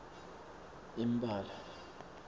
imbala